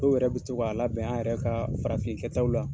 Dɔw yɛrɛ bɛ to ka labɛn an yɛrɛ ka farafin kɛtaw la.